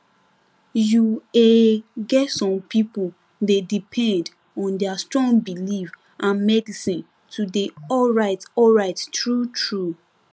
you ehh get some people dey depend on their strong belief and medicine to dey alright alright truetrue